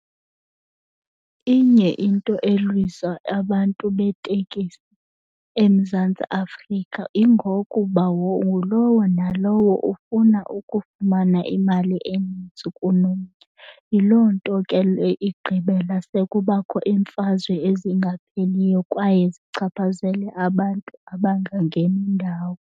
Inye into elwisa abantu beetekisi eMzantsi Afrika ingokuba ngulowo nalowo ufuna ukufumana imali enintsi kunomnye. Yiloo nto ke le igqibela sekubakho iimfazwe ezingapheliyo kwaye zichaphazele abantu abangangeni ndawo.